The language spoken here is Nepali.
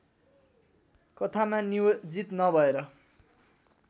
कथामा नियोजित नभएर